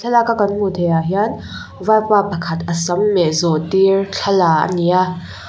thlalak a kan hmuh theihah hian vaipa pakhat a sam meh zawh tir thla la a ni a.